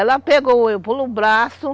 Ela pegou, eu pelo braço.